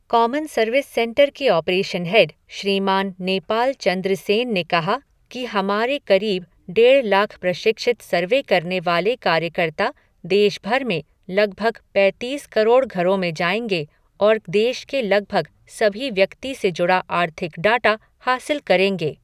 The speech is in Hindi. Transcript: कॉमन सर्विस सेंटर के ऑपरेशन हेड, श्रीमान नेपाल चंद्र सेन ने कहा कि हमारे करीब डेढ़ लाख प्रशिक्षित सर्वे करने वाले कार्यकर्ता देश भर में लगभग पैतीस करोड़ घरों में जाएंगे और देश के लगभग सभी व्यक्ति से जुड़ा आर्थिक डाटा हासिल करेंगे।